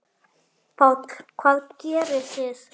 Páll: Hvað gerið þið?